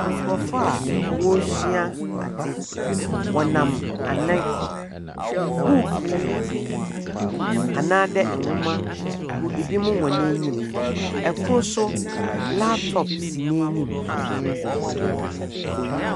Nkrɔfo a ɔresua ade, ɔnam anan, bukuu anaa de nwoma gu ebinom hɔn enim. Ɛkoro nso laptop si n'enim.